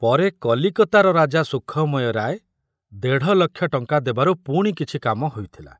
ପରେ କଲିକତାର ରାଜା ସୁଖମୟ ରାୟ ଦେଢ଼ ଲକ୍ଷ ଟଙ୍କା ଦେବାରୁ ପୁଣି କିଛି କାମ ହୋଇଥିଲା।